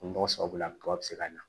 Nɔgɔ sababu la kaba bɛ se ka na